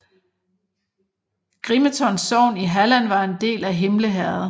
Grimeton sogn i Halland var en del af Himle herred